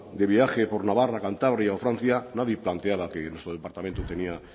de viaje por navarra cantabria o francia nadie planteaba que nuestro departamento tenía